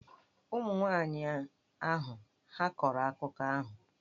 Ụmụ nwanyị ahụ hà a kọrọ akụkọ ahụ?